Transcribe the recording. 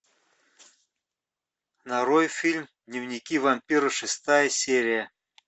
нарой фильм дневники вампира шестая серия